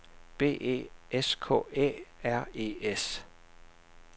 B E S K Æ R E S